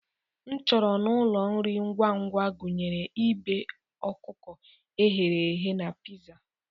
Nchọrọ n'ụlọ nri ngwa ngwa gụnyere ibe, ọkụkọ e ghere eghe na pizza.